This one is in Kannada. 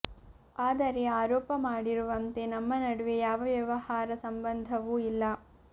ಆದರೆ ಆರೋಪ ಮಾಡಿರು ವಂತೆ ನಮ್ಮ ನಡುವೆ ಯಾವ ವ್ಯವಹಾರ ಸಂಬಂಧವೂ ಇಲ್ಲ